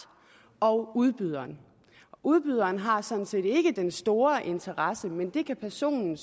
og udbyderen udbyderen har sådan set ikke den store interesse i det men det kan personen